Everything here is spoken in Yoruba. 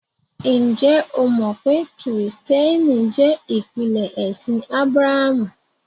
Njẹ́ ó mọ pé Kristiẹ́nìtì jẹ́ ìpínlẹ̀ ẹ̀ṣin Ábràhàmù?